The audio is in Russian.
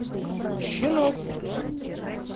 щенок